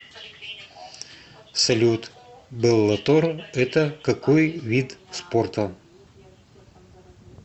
салют беллатор это какой вид спорта